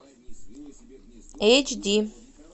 эйч ди